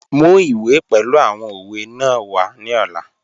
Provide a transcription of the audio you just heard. Mu iwe pẹlu awọn owe naa wa ni ọla.